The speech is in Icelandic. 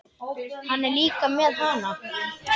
Hann er líka með HANA!